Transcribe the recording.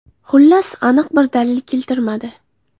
Xullas, aniq bir dalil keltirilmadi.